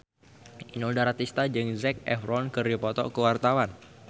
Inul Daratista jeung Zac Efron keur dipoto ku wartawan